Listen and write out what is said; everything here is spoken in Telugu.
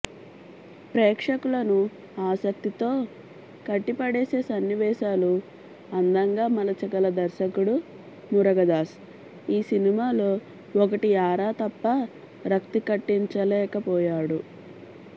ప్రేక్షకులను ఆసక్తితో కట్టిపడేసే సన్నివేశాలు అందంగా మలచగల దర్శకుడు మురుగదాస్ ఈ సినిమాలో ఒకటి ఆరా తప్ప రక్తికట్టించలేకపోయాడు